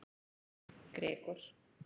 Gregor